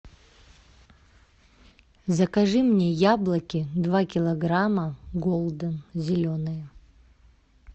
закажи мне яблоки два килограмма голден зеленые